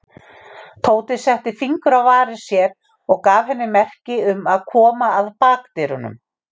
Tóti setti fingur á varir sér og gaf henni merki um að koma að bakdyrunum.